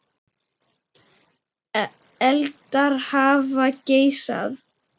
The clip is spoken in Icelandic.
Eldar hafa geisað